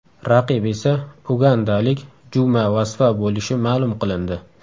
Raqib esa ugandalik Juma Vasva bo‘lishi ma’lum qilindi .